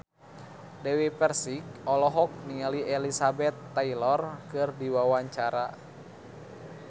Dewi Persik olohok ningali Elizabeth Taylor keur diwawancara